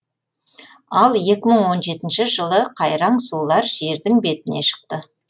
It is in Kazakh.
ал екі мың он жетінші жылы қайраң сулар жердің бетіне шықты